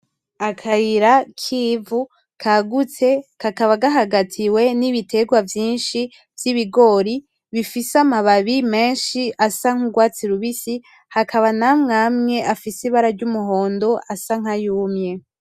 Akayira kivu kagutse kakaba gahagatiwe nibiterwa vyinshi vyibigori bifise amababi menshi asa nkurwatsi rubisi hakaba namwamwe afise ibara ryumuhondo asa nkayumye.